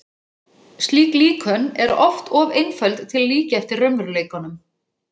Slík líkön eru oft of einföld til að líkja eftir raunveruleikanum.